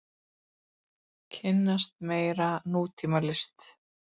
Kynnast meira nútímalist.